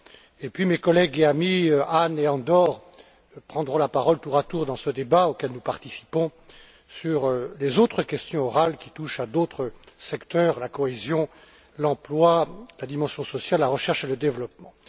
ensuite, mes collègues et amis, Hahn et Andor prendront la parole tour à tour dans ce débat auquel nous participons sur les autres questions orales qui touchent à d'autres secteurs la cohésion, l'emploi, la dimension sociale, la recherche et le développement.